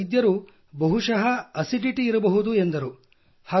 ವೈದ್ಯರು ಬಹುಶಃ ಆಸಿಡಿಟಿ ಇರಬಹುದು ಎಂದರು